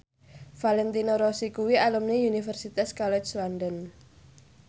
Valentino Rossi kuwi alumni Universitas College London